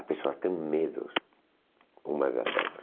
As pessoas têm medos uma das outra.